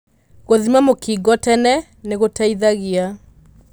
Gũthima mũkingo tene nĩgũteithagia.